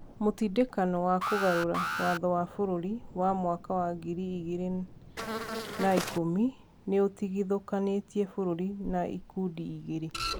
Mũtindeko wa kũgarũra Watho wa bũrũri wa mwaka wa ngiri igĩrĩ na ikũmi nĩ ũtigithũkanĩtie bũrũri na ikundi igĩrĩ.